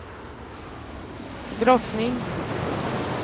drottning